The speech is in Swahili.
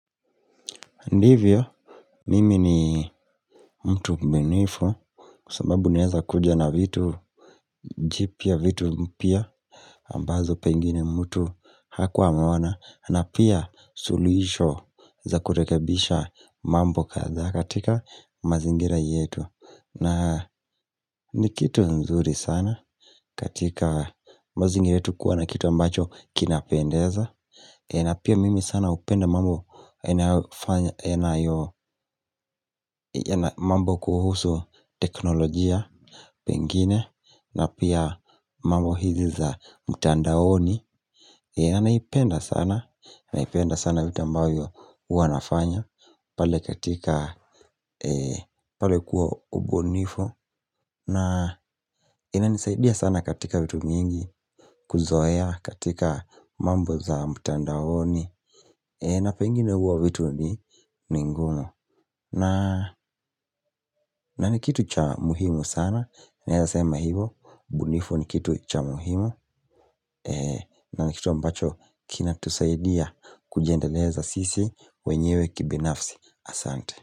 Ndivyo, mimi ni mtu mbunifu, kwa sababu unaeza kuja na vitu, jipya vitu mpya, ambazo pengine mtu hakuwa ameona, na pia suluisho za kurekebisha mambo kadhaa katika mazingira yetu. Na ni kitu nzuri sana katika mazingira yetu kuwa na kitu ambacho kinapendeza. Na pia mimi sana hupenda mambo kuhusu teknolojia pengine na pia mambo hizi za mtandaoni na naipenda sana, na naipenda sana vitu ambavyo huwa nafanya pale katika, pale kuwa ubunifu na inanisaidia sana katika vitu mingi kuzoea katika mambo za mtandaoni na pengine huwa vitu ni ni ngumu na ni kitu cha muhimu sana naeza sema hivo ubunifu ni kitu cha muhimu na ni kitu ambacho kinatusaidia kujiendeleza sisi wenyewe kibinafsi asante.